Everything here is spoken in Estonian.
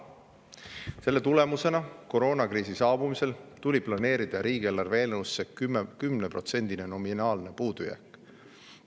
Selle tõttu tuli koroonakriisi saabumisel planeerida riigieelarve eelnõusse 10%‑line nominaalne puudujääk.